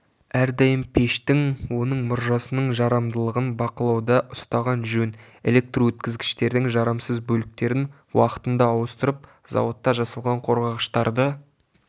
әрдайым пештің оның мұржасының жарамдылығын бақылауда ұстаған жөн электрөткізгіштердің жарамсыз бөліктерін уақытында ауыстырып заводта жасалған қорғағыштарды